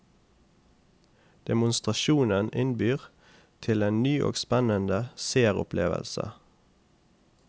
Demonstrasjonen innbyr til en ny og spennende seeropplevelse.